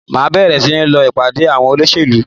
Màá bèrè sí ní lọ ìpàdé àwọn olóṣèlú